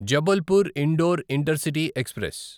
Jabalpur Indore intercity express